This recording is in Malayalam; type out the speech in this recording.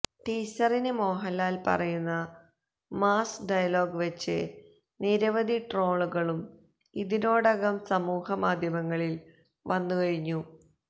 ടീസറില് മോഹന്ലാല് പറയുന്ന മാസ് ഡയലോഗ് വെച്ച് നിരവധി ട്രോളുകളും ഇതിനോടകം സമൂഹമാധ്യമത്തില് വന്നു കഴിഞ്ഞു